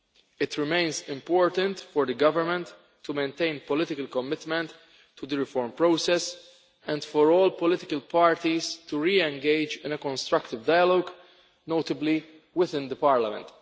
It remains important for the government to maintain political commitment to the reform process and for all political parties to re engage in a constructive dialogue, notably within the Parliament.